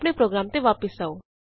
ਆਪਣੇ ਪ੍ਰੋਗਰਾਮ ਤੇ ਵਾਪਸ ਆਉ